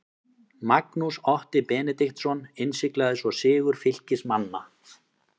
Magnús Otti Benediktsson innsiglaði svo sigur Fylkismanna.